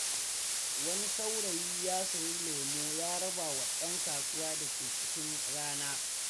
Wani saurayi ya sayi lemo ya rabawa ‘yan kasuwa da ke cikin rana.